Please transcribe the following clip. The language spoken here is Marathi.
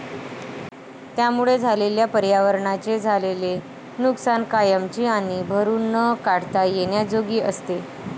त्यामुळे झालेल्या पर्यावरणाचे झालेले नुकसान कायमची आणि भरून न काढता येण्याजोगी असते